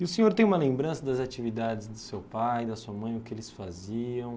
E o senhor tem uma lembrança das atividades do seu pai e da sua mãe, o que eles faziam?